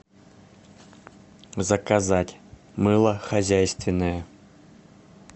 заказать мыло хозяйственное